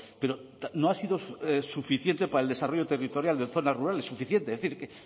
pero no ha sido suficiente para el desarrollo territorial de zonas rurales suficiente es decir que